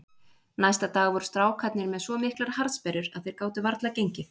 Næsta dag voru strákarnir með svo miklar harðsperrur að þeir gátu varla gengið.